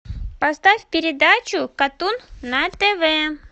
поставь передачу катун на тв